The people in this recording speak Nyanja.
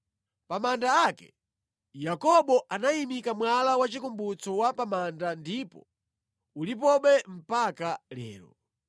Pa manda ake, Yakobo anayimika mwala wachikumbutso wa pa manda ndipo ulipobe mpaka lero.